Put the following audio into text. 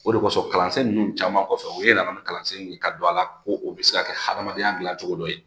O de kosɔn kalansen ninnu caman kɔfɛ u ye yɛlɛma ni kalansen ye ka don a la ko o bɛ se ka kɛ hadamadenya dilan cogo dɔ ye